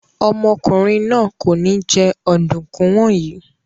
Ọmọkùnrin náà kò ní jẹ ọ̀dùnkún wọ̀nyí.